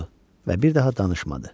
Oturdu və bir daha danışmadı.